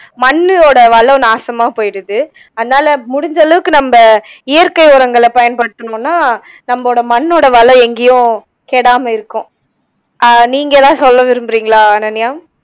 மண்ணோட வளம் நாசமா போகிறுது அதனால முடிஞ்ச அளவுக்கு நம்ப இயற்கை உரங்களை பயன்படுத்துனோம்னா நம்மளோட மண்ணோட வளம் எங்கயும் கெடாமல் இருக்கும் ஆஹ் நீங்க எதாவது சொல்ல விரும்புறீங்களா அனன்யா